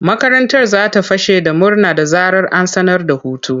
Makarantar za ta fashe da murna da zarar an sanar da hutu.